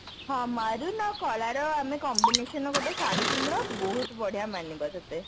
ହଁ maroon ଆଉ କଳାର combination ରେ ଗୋଟେ ଶାଢ଼ୀ କିଣିଦେବା ବହୁତ ବଢିଆ ମାନିବ ତତେ